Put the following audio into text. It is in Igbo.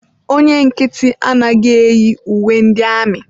Onye nkịtị anaghị eyi uwe ndị amị.